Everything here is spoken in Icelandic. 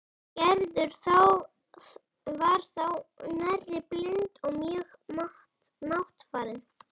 Gerður var þá nærri blind og mjög máttfarin.